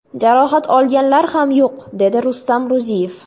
Jarohat olganlar ham yo‘q, dedi Rustam Ro‘ziyev.